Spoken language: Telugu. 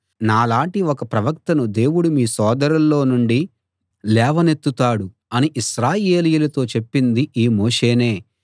నాలాటి ఒక ప్రవక్తను దేవుడు మీ సోదరుల్లో నుండి లేవనెత్తుతాడు అని ఇశ్రాయేలీయులతో చెప్పింది ఈ మోషేనే